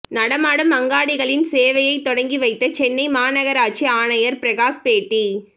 நடமாடும் அங்காடிகளின் சேவையை தொடங்கி வைத்த சென்னை மாநகராட்சி ஆணையர் பிரகாஷ் பேட்டி